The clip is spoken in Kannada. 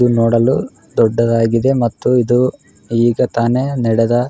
ಇದು ನೋಡಲು ದೊಡ್ಡದಾಗಿದೆ ಮತ್ತು ಇದು ಈಗ ತಾನೇ ನಡೆದ --